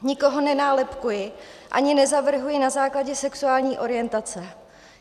Nikoho nenálepkuji ani nezavrhuji na základě sexuální orientace.